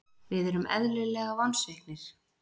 Við erum eðlilega vonsviknir.